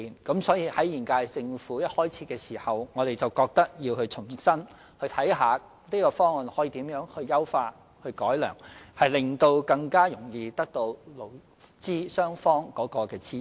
因此，現屆政府任期開始時，即認為有需要重新檢視這項方案，研究如何優化、改良，務求取得勞資雙方的支持。